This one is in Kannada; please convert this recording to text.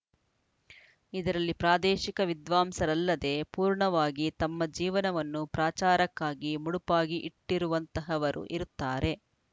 ಇದರಲ್ಲಿ ಪ್ರಾದೇಶಿಕ ವಿದ್ವಾಂಸರಲ್ಲದೇ ಪೂರ್ಣವಾಗಿ ತಮ್ಮ ಜೀವನವನ್ನು ಪ್ರಾಚಾರಕ್ಕಾಗಿ ಮುಡುಪಾಗಿ ಇಟ್ಟಿರುವಂತಹವರು ಇರುತ್ತಾರೆ